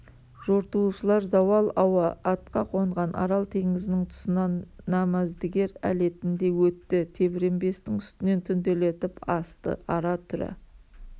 жортуылшылар зауал ауа атқа қонған арал теңізінің тұсынан намаздігер әлетінде өтті тебіренбестің үстінен түнделетіп асты ара-түра